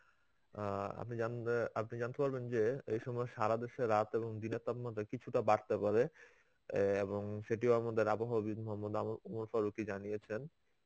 অ্যাঁ আপনি জানে~ আপনি জানতে পারবেন যে এই সময়ে সারা দেশে রাত এবং দিনে তার মধ্যে কিছুটা বাড়তে পারে অ্যাঁ এবং সেটিও আমাদের আবহাওয়াবিদ মহম্মদ জানিয়েছেন.